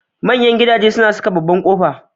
Manyan gidaje suna saka babbar kofa.